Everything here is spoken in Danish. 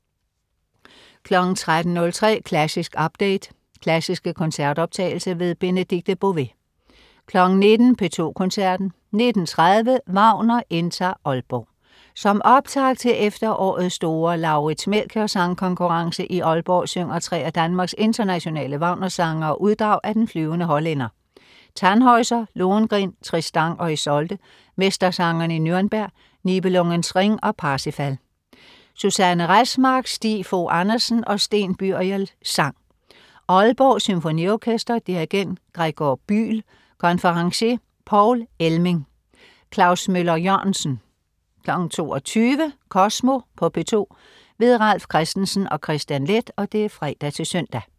13.03 Klassisk update. Klassiske koncertoptagelser. Benedikte Bové 19.00 P2 Koncerten. 19.30 Wagner indtager Aalborg. Som optakt til efterårets store Lauritz Melchior Sangkonkurrence i Aalborg synger tre af Danmarks internationale Wagner-sangere uddrag af Den flyvende hollænder, Tannhäuser, Lohengrin, Tristan og Isolde, Mestersangerne i Nürnberg, Niebelungens Ring og Parsifal. Susanne Resmark, Stig Fogh Andersen og Sten Byriel, sang. Aalborg Symfoniorkester. Dirigent: Gregor Bühl. Konferencier: Poul Elming.Klaus Møller-Jørgensen 22.00 Kosmo på P2. Ralf Christensen og Kristian Leth (fre-søn)